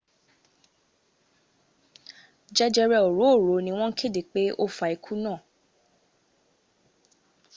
jẹjẹrẹ òróòro ni wọn kéde pé ó fa ikú náà